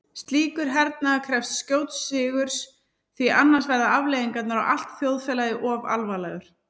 Slíkur hernaður krefst skjóts sigurs því annars verða afleiðingarnar á allt þjóðfélagið of alvarlegar.